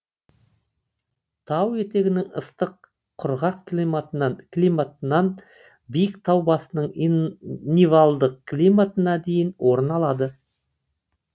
тау етегінің ыстық құрғақ климатынан биік тау басының нивальдық климатына дейін орын алады